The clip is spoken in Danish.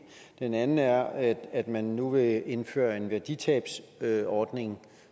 den anden er at man nu vil indføre en værditabsordning